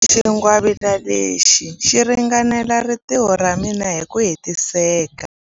Xingwavila lexi xi ringanela rintiho ra mina hi ku hetiseka.